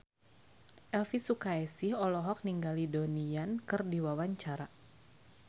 Elvy Sukaesih olohok ningali Donnie Yan keur diwawancara